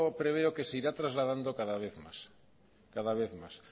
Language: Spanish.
preveo que se irá trasladando cada vez más